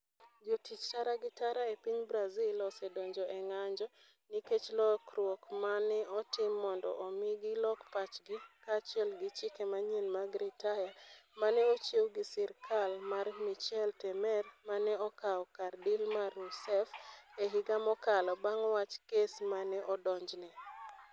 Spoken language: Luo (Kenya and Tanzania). Jotich tara gi tara e piny Brazil osedonjo e ng'anjo nikech lokruok ma ne otim mondo omi gilok pachgi, kaachiel gi chike manyien mag ritaya ma ne ochiw gi sirkal mar Michel Temer, ma ne okawo kar Dilma Rousseff e higa mokalo bang ' wach kes ma ne odonjne.